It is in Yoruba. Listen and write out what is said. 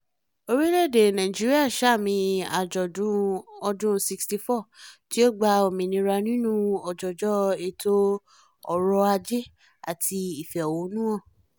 orílẹ̀-èdè nàìjíríà sààmì àjọ̀dún ọdún 64 tí ó gba òmìnira nínú òjòjò ètò ọ̀rọ̀ ajé àti ìfẹ̀hónúhàn